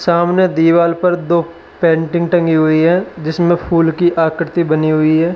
सामने दीवाल पर दो पेंटिंग टंगी हुई है जिसमें फूल की आकृति बनी हुई है।